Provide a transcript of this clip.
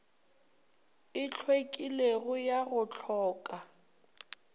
e hlwekilego ya go hloka